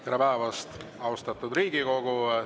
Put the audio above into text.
Tere päevast, austatud Riigikogu!